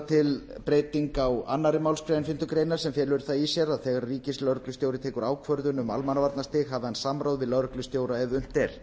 til breyting á annarri málsgrein fimmtu grein sem felur í sér að þegar ríkislögreglustjóri tekur ákvörðun um almannavarnastig hafi hann samráð við lögreglustjóra ef unnt er